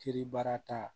Teri baara ta